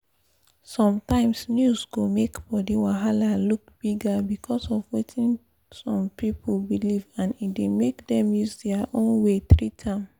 sometimes news go make body wahala look bigger because of wetin some pipu believe and e dey make dem use their own way treat am